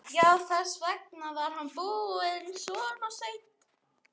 Já, þess vegna var hann búinn svona seint.